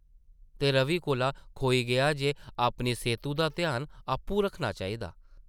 ते रवि कोला खोई गेआ जे अपनी सेह्तु दा ध्यान आपूं रक्खना चाहिदा ।